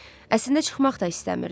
Əslində çıxmaq da istəmirdi.